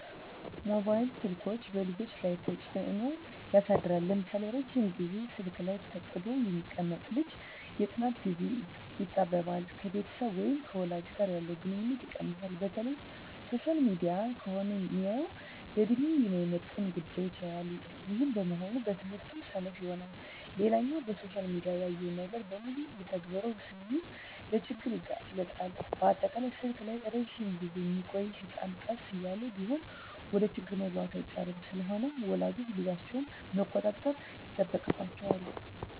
መባይል ስልኮች በልጆች ላይ ተጽኖ ያሳድራል ለምሳሌ:- ረጅም ግዜ ስልክ ላይ ተጥዶ የሚቀመጥ ልጅ የጥናት ግዜው ይጣበባል፣ ከቤተሰብ ወይም ከወላጅ ጋር ያለው ግንኙነት ይቀንሳል፣ በተለይ ሶሻል ሚዲያ ከሆነ ሚያየው ለድሜው የማይመጥን ጉዳዮች ያያል ይህም በመሆኑ በትምህርቱ ሰነፍ ይሆናል። ሌላኛው በሶሻል ሚዲያ ያየውን ነገር በሙሉ ልተግብር ስለሚል ለችግር ይጋለጣል፣ በአጠቃላይ ስልክ ላይ እረጅም ግዜ ሚቆዮ ህጸናት ቀስ እያለም ቢሆን ወደችግር መግባቱ አይቀርም። ስለሆነም ወላጆች ልጆቻቸውን መቆጣጠር ይጠበቅባቸዋል